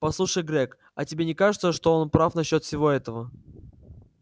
послушай грег а тебе не кажется что он прав насчёт всего этого